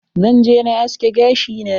Zan je na aske gashi na.